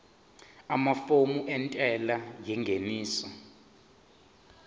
amafomu entela yengeniso